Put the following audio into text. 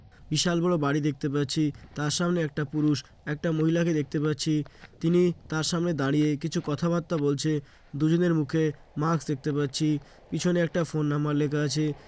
বিশাল বড়ো বাড়ি দেখতে পাচ্ছি তার সামনে একটা পুরুষ একটা মহিলাকে দেখতে পাচ্ছি তিনি তার সামনে দাঁড়িয়ে কিছু কথাবার্তা বলছে । দুজনের মুখে মাস্ক দেখতে পাচ্ছি । পিছনে একটা ফোন নাম্বার লেখা আছে ।